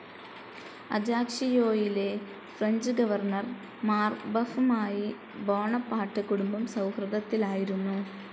അജാക്ഷിയോയിലെ French governor മാർബഫുമായി Bonaparte കുടുംബം സൗഹൃദത്തിലായിരുന്നു.